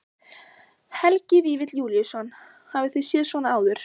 Helgi Vífill Júlíusson: Hafið þið séð svona áður?